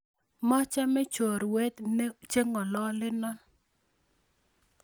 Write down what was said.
Machame chorwok chengololeno